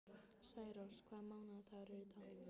Særós, hvaða mánaðardagur er í dag?